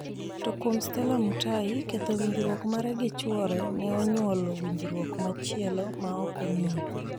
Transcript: To kuom Stella Mutahi, ketho winjruok mare gi chuore ne onyuolo winjruok machielo ma ok ong'iyo.